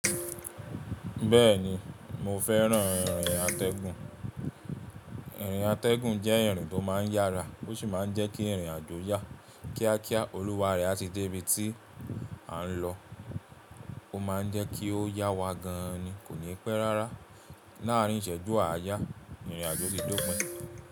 Bẹ́ẹ̀ni mo fẹ́ràn irìn atẹ́gùn. Irìn atẹ́gùn jẹ́ ìrìn tó máa ń yára ó sì máa ń jẹ́ kí ìrìn àjò yá kíákíá, olùwáre á ti dé ibi tí a ń lọ. Ó máa ń jẹ́ kí ó yá wa gan-an ni kò ní pẹ́ rárá. Láàárín ìṣẹ́jú àyà ìrìn àjò ti dópin.